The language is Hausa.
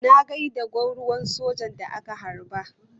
Na gai da gwamruwar sojan da aka harbe.